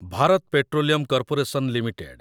Bharat petroleum corporation limited